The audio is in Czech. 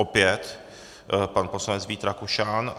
Opět pan poslanec Vít Rakušan.